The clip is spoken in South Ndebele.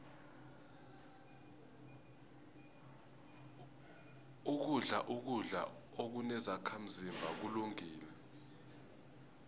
ukudla ukudla okunezakhazimba kulungile